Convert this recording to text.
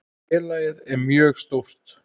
Félagið er mjög stórt.